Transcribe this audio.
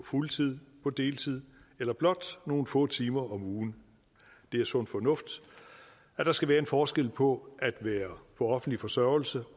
fuldtid på deltid eller blot nogle få timer om ugen det er sund fornuft at der skal være en forskel på at være på offentlig forsørgelse